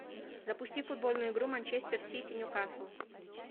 запусти футбольную игру манчестер сити ньюкасл